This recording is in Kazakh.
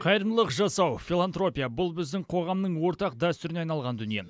қайырымдылық жасау филантропия бұл біздің қоғамның ортақ дәстүріне айналған дүние